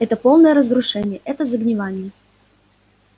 это полное разрушение это загнивание